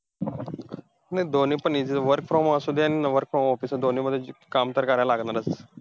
नाही दोन्ही पण easy आहे. work from home असू दे आणि work from office दोन्ही मध्ये काम तर करायला लागणार चं आहे.